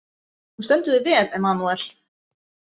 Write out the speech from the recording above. Þú stendur þig vel, Emmanúel!